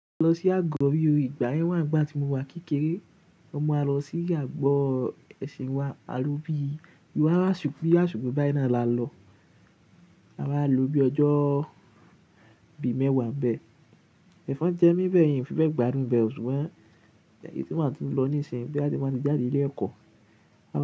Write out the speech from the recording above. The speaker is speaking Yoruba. A lọ sí àgọ́ ri o, ìgbà yẹn wá nìgbà tí mo wà kékeré. Mon n máa lọ sí àgọ́ ẹ̀sìn wa, a lo bí i, bí i aṣọ, bí i asiko bayii náà la lọ. A wa lo bí i ọjọ́ bíi mẹ́wàá n bẹ́ Ẹ̀fọn jẹ mí n bẹ́ yen, n fi bẹ́ẹ̀ gbádùn bẹ́ẹ̀. Ṣùgbọ́n èyí tí máa tún lọ nísìnyí boya ti n báa ti jáde ilé ẹ̀kọ́,